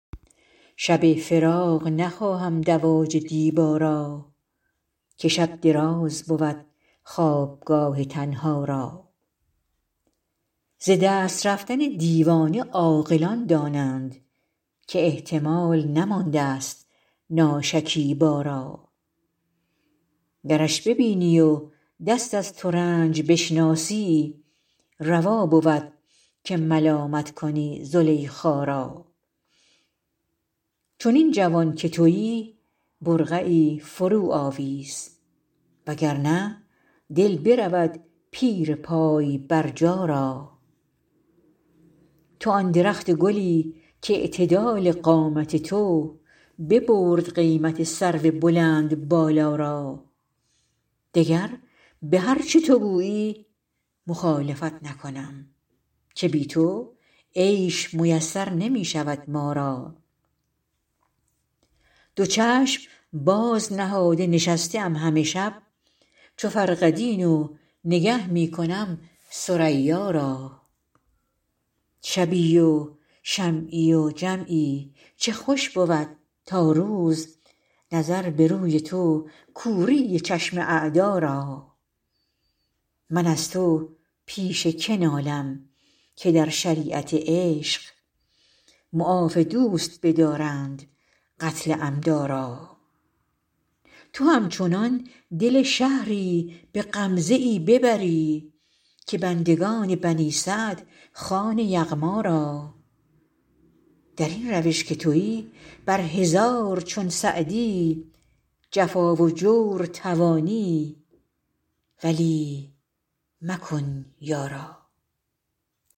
شب فراق نخواهم دواج دیبا را که شب دراز بود خوابگاه تنها را ز دست رفتن دیوانه عاقلان دانند که احتمال نماندست ناشکیبا را گرش ببینی و دست از ترنج بشناسی روا بود که ملامت کنی زلیخا را چنین جوان که تویی برقعی فروآویز و گر نه دل برود پیر پای برجا را تو آن درخت گلی کاعتدال قامت تو ببرد قیمت سرو بلندبالا را دگر به هر چه تو گویی مخالفت نکنم که بی تو عیش میسر نمی شود ما را دو چشم باز نهاده نشسته ام همه شب چو فرقدین و نگه می کنم ثریا را شبی و شمعی و جمعی چه خوش بود تا روز نظر به روی تو کوری چشم اعدا را من از تو پیش که نالم که در شریعت عشق معاف دوست بدارند قتل عمدا را تو همچنان دل شهری به غمزه ای ببری که بندگان بنی سعد خوان یغما را در این روش که تویی بر هزار چون سعدی جفا و جور توانی ولی مکن یارا